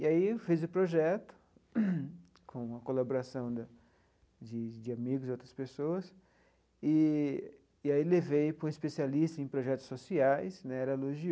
E aí eu fiz o projeto, com a colaboração da de de amigos e outras pessoas, eee e aí levei para um especialista em projetos sociais né, e elogiou.